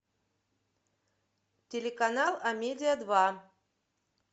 телеканал амедия два